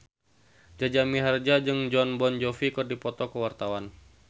Jaja Mihardja jeung Jon Bon Jovi keur dipoto ku wartawan